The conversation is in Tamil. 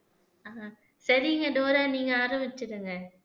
ஆஹ் சரிங்க டோரா நீங்க ஆரம்பிச்சுக்கங்க